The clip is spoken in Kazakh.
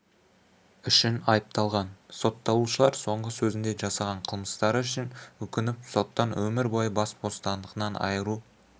үшін айыпталған сотталушылар соңғы сөзінде жасаған қылмыстары үшін өкініп соттан өмір бойы бас бостандығынан айыру